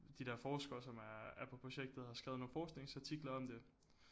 De der forskere som er er på projektet har skrevet nogle forskningsartikler om det